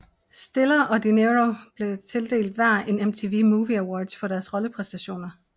Stiller og De Niro blev tildelt hver en MTV Movie Awards for deres rollepræstationer